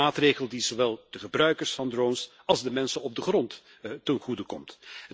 Een maatregel die zowel de gebruikers van drones als de mensen op de grond ten goede komt.